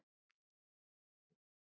VIÐ ERUM ÞAR HÉR